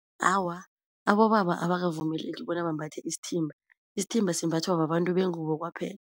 Awa, abobaba abakavumeleki bona bambathe isithimba, isithimba simbathwa babantu bengubo kwaphela.